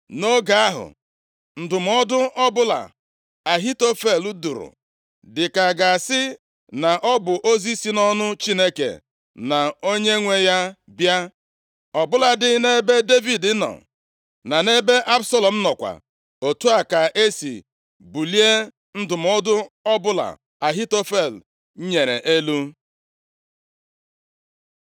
Nʼoge ahụ, ndụmọdụ ọbụla Ahitofel dụrụ dị ka a ga-asị na ọ bụ ozi si nʼọnụ Chineke nʼonwe ya bịa. Ọ bụladị nʼebe Devid nọ, na nʼebe Absalọm nọkwa, otu a ka esi bulie ndụmọdụ ọbụla Ahitofel nyere elu.